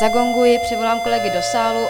Zagonguji, přivolám kolegy do sálu.